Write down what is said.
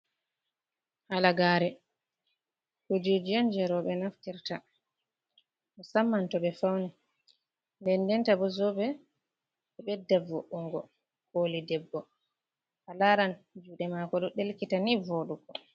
Halagare, kujije'on je roɓe naftirta musamman to ɓe fauni, nden ndenta bo zobe ɗo bedda vo’ungo koli debbo a laran juɗe mako ɗo ɗelkita nii voɗugo.